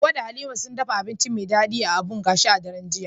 Hawwa da Halima suka dafa abinci mai daɗi a abun gashi a daren jiya.